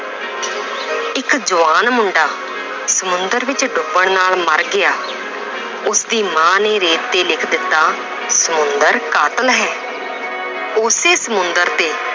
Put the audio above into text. ਇੱਕ ਜਵਾਨ ਮੁੰਡਾ ਸਮੁੰਦਰ ਵਿੱਚ ਡੁਬਣ ਨਾਲ ਮਰ ਗਿਆ ਉਸਦੀ ਮਾਂ ਨੇ ਰੇਤ ਤੇ ਲਿਖ ਦਿੱਤਾ ਸਮੁੰਦਰ ਕਾਤਲ ਹੈ ਉਸੇ ਸਮੁੰਦਰ ਤੇ